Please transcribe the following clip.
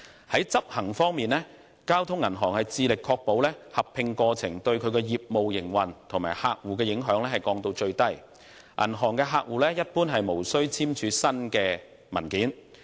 在執行方面，交通銀行致力將合併過程對其業務營運及客戶的影響降至最低，銀行客戶一般無須簽署新文件。